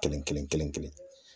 Kelen kelen kelen kelen.